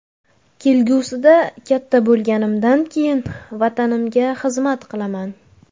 Kelgusida, katta bo‘lganimdan keyin, Vatanimga xizmat qilaman.